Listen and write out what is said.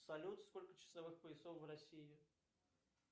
салют сколько часовых поясов в россии